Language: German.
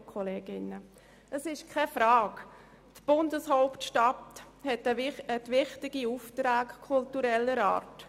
Die Bundeshauptstadt hat wichtige Aufträge kultureller Art.